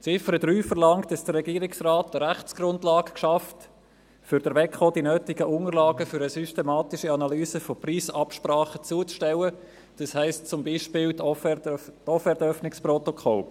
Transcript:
Ziffer 3 verlangt, dass der Regierungsrat eine Rechtsgrundlage schafft, um der Wettbewerbskommission (WEKO) die nötigen Unterlagen für die systematische Analyse von Preisabsprachen zuzustellen, das heisst zum Beispiel die Offertöffnungsprotokolle.